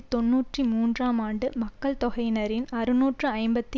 தொன்னூற்றி மூன்றாம் ஆண்டு மக்கள் தொகையினரின் அறுநூற்று ஐம்பத்தி